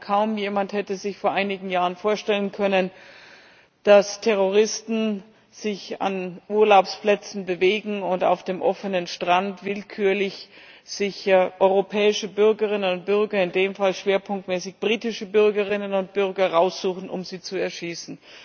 Denn wohl kaum jemand hätte sich vor einigen Jahren vorstellen können, dass Terroristen sich an Urlaubsplätzen bewegen und sich auf dem offenen Strand willkürlich europäische Bürgerinnen und Bürger in dem Fall schwerpunktmäßig britische Bürgerinnen und Bürger heraussuchen, um sie zu erschießen.